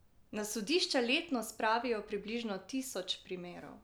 Na sodišča letno spravijo približno tisoč primerov.